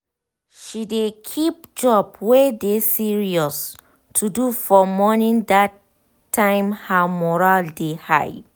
she dey keep job wey dey serious to do for morning dat time her mural dey high